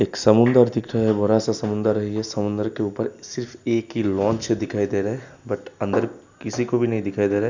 एक समुन्दर दिख रहा है। बड़ा सा समुन्दर है। ये समुंदर के ऊपर सिर्फ एक ही लांच दिखाई दे रहा है। बट अंदर किसी को भी नही दिखाई दे रहा है।